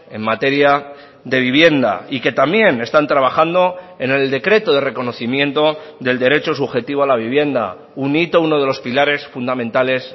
en materia de vivienda y que también están trabajando en el decreto de reconocimiento del derecho subjetivo a la vivienda un hito uno de los pilares fundamentales